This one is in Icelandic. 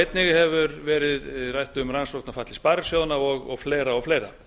einnig hefur verið rætt um rannsókn á falli sparisjóðanna og fleira og fleira